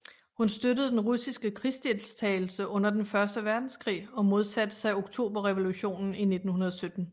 Hun støttede den russiske krigsdeltagelse under Den Første Verdenskrig og modsatte sig Oktoberrevolutionen i 1917